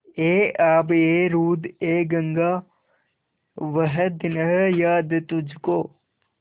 ऐ आबएरूदएगंगा वह दिन हैं याद तुझको